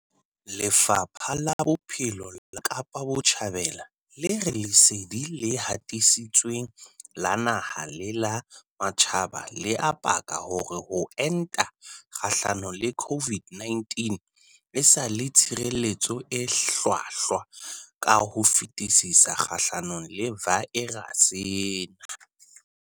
Lefapha la Bophelo la Kapa Botjhabela le re lesedi le hatisitsweng la naha le la matjhaba le a paka hore ho enta kgahlano le COVID-19 e sa le tshireletso e hlwahlwa ka ho fetisisa kgahlano le vaerase ena.